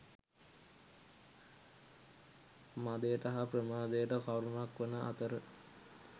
මදයට හා ප්‍රමාදයට කරුණක් වන අතර